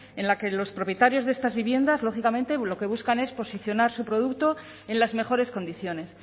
en la que los propietarios de estas viviendas lógicamente lo que buscan es posicionar su producto en las mejores condiciones